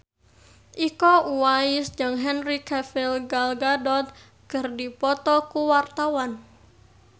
Iko Uwais jeung Henry Cavill Gal Gadot keur dipoto ku wartawan